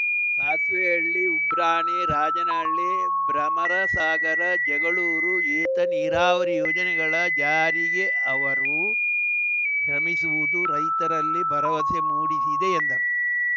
ಸಾಸ್ವೆಹಳ್ಳಿ ಉಬ್ರಾಣಿ ರಾಜನಹಳ್ಳಿ ಭ್ರಮಸಾಗರ ಜಗಳೂರು ಏತ ನೀರಾವರಿ ಯೋಜನೆಗಳ ಜಾರಿಗೆ ಅವರು ಶ್ರಮಿಸುವುದು ರೈತರಲ್ಲಿ ಭರವಸೆ ಮೂಡಿಸಿದೆ ಎಂದರು